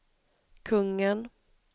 kungen